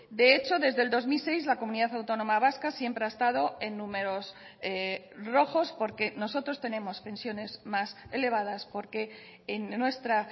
de hecho desde el dos mil seis la comunidad autónoma vasca siempre ha estado en números rojos porque nosotros tenemos pensiones más elevadas porque en nuestra